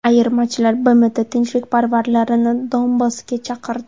Ayirmachilar BMT tinchlikparvarlarini Donbassga chaqirdi.